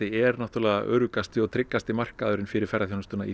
er náttúrlega öruggasti og tryggasti markaðurinn fyrir ferðaþjónustuna í